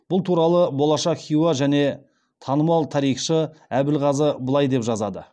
бұл туралы болашақ хиуа ханы және танымал тарихшы әбілғазы былай деп жазады